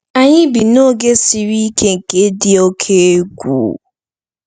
“Anyị bi n’oge siri ike nke dị oke egwu.”